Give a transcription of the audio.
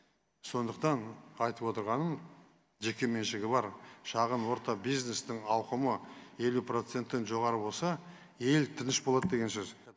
сондықтан айтып отырғаным жеке меншігі бар шағын орта бизнестің ауқымы елу проценттен жоғары болса ел тыныш болады деген сөз